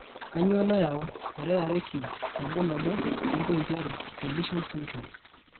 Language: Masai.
kanyioo nayau 22q11.2 deletion syndrome?